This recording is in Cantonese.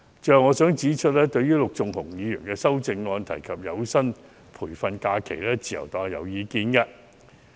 最後，我想指出，對於陸頌雄議員修正案提及的有薪培訓假期，自由黨有意見。